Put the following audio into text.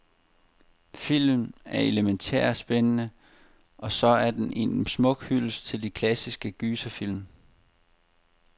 Filmen er elemæntært spændende, og så er den en smuk hyldest til de klassiske gyserfilm.